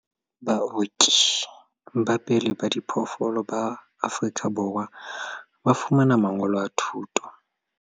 Baoki ba pele ba diphoofolo ba Afrika Borwa ba fumana mangolo a thuto